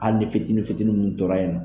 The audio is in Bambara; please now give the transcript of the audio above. Ali ni fitinin fitini minnu tɔra yen nɔ.